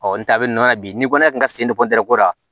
Ɔ n ta bɛ n na bi ni ko ne kun ka se ko la